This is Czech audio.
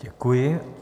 Děkuji.